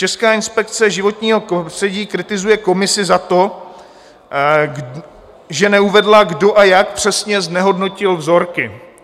Česká inspekce životního prostředí kritizuje komisi za to, že neuvedla, kdo a jak přesně znehodnotil vzorky.